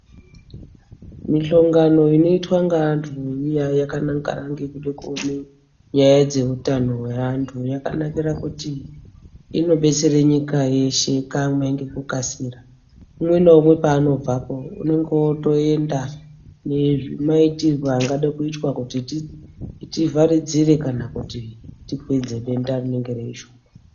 Mihlangano iya inoitwa yakanangana neutano hweantu yakanaka maningi ngekuti inodetsere nyika yeshe kamwe ngekukasira ngekuti umwe naumwe paanobvepo unenge otoenda eiziya kuti zvii zvinofanirwe kuitwa kana kuvharidzire denda rinenge riripo.